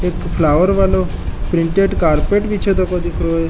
एक फ्लॉवर वालो printed carpet बिछयो तको दिखरो है।